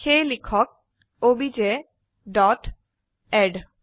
সেয়ে লিখক অব্জ ডট এড